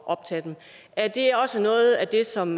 optage dem er det også noget af det som